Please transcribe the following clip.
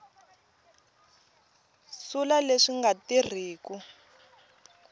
sula leswi swi nga tirhiku